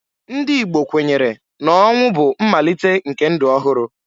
Ndị Igbo kwenyere na ọnwụ bụ mmalite nke ndụ ọhụrụ.